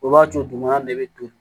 O b'a to duguma ne bɛ to